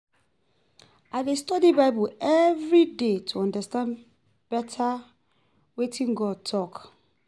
I dey study Bible every day to understand better wetin God talk